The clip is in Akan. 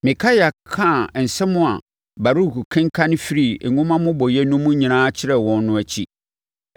Mikaia kaa nsɛm a Baruk kenkanee firii nwoma mmobɔeɛ no mu nyinaa kyerɛɛ wɔn no akyi,